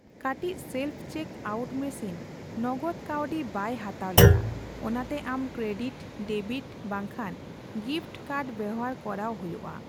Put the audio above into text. ᱠᱟᱴᱤᱪ self check out machine ᱱᱚᱜᱚᱫ ᱠᱟᱹᱣᱰᱤ ᱵᱟᱭ ᱦᱟᱛᱟᱣ ᱞᱮᱫᱟ, ᱚᱱᱟᱛᱮ ᱟᱢ ᱠᱮᱨᱰᱤᱴ, ᱰᱮᱵᱤᱴ ᱵᱟᱝᱠᱷᱟᱱ ᱜᱤᱯᱷᱚᱴ ᱠᱟᱨᱰ ᱵᱮᱣᱦᱟᱨ ᱠᱚᱨᱟᱣ ᱦᱳᱭᱳᱜᱼᱟ ᱾